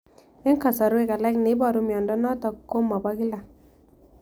Eng' kasarwek alak neiparu miondo notok ko mapokila